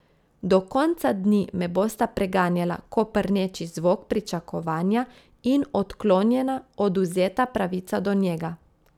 Do konca dni me bosta preganjala koprneči zvok pričakovanja in odklonjena, odvzeta pravica do njega.